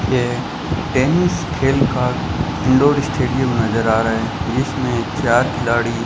यह टेनिस खेल का इनडोर स्टेडियम नजर आ रहा है जिसमें चार खिलाड़ी --